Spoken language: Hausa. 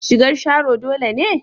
Shigar Sharo dole ne?